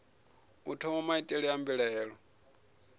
u thoma maitele a mbilaelo